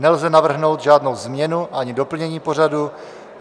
Nelze navrhnout žádnou změnu ani doplnění pořadu.